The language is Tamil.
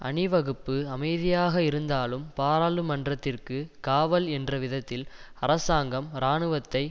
அணிவகுப்பு அமைதியாக இருந்தாலும் பாராளுமன்றத்திற்கு காவல் என்ற விதத்தில் அரசாங்கம் இராணுவத்தை